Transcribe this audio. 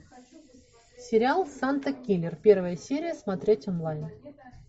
сериал санта киллер первая серия смотреть онлайн